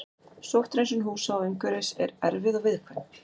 Sótthreinsun húsa og umhverfis er erfið og viðkvæm.